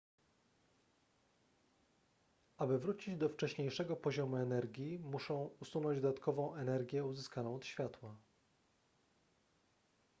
aby wrócić do wcześniejszego poziomu energii muszą usunąć dodatkową energię uzyskaną od światła